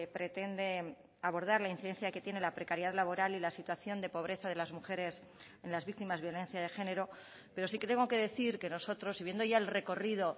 pretende abordar la incidencia que tiene la precariedad laboral y la situación de pobreza de las mujeres en las víctimas violencia de género pero sí que tengo que decir que nosotros y viendo ya el recorrido